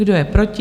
Kdo je proti?